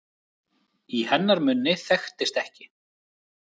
Í hennar munni þekktist ekki